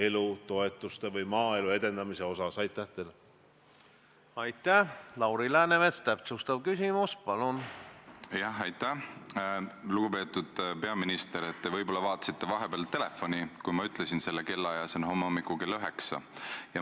Kui keegi astub sellest poliitilisest võitlusest välja ja paneb Eesti rahvusvahelise maine löögi alla, öeldes, et peaminister on nõus esimesel võimalusel Eesti maha müüma, siis loomulikult pean ma sellele reageerima, sest ma ei ole selle väitega nõus ja ma ei ole kuidagi nõus sellega, et minu kohta sedasi öeldakse.